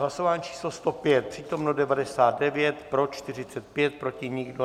Hlasování číslo 105, přítomno 99, pro 45, proti nikdo.